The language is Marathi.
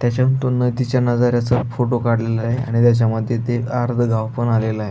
त्याच्यातुन नदीच्या नजाराचा फोटो काढलेला आहे आणि त्याच्यामध्ये ते आर्ध गाव पण आलेल आहे.